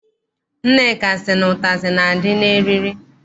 Nneka sị na ụtazị na- adị n'eriri.